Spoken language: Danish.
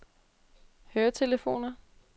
høretelefoner